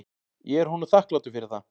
Ég er honum þakklátur fyrir það.